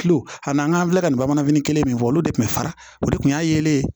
Kilo an n'an filɛ ka nin bamananfini kelen min fɔ olu de tun bɛ fara o de kun y'a yelen ye